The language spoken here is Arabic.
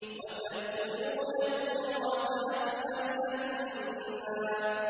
وَتَأْكُلُونَ التُّرَاثَ أَكْلًا لَّمًّا